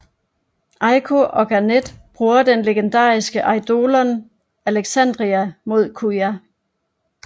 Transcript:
Eiko og Garnet bruger den legendariske eidolon Alexandria imod Kuja